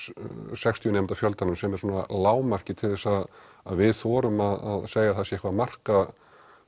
sextíu nemenda fjöldanum sem er svona lágmarkið til þess að við þorum að segja að það sé eitthvað að marka